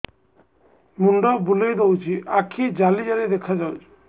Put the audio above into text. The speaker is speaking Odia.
ମୁଣ୍ଡ ବୁଲେଇ ଦଉଚି ଆଖି ଜାଲି ଜାଲି ଦେଖା ଯାଉଚି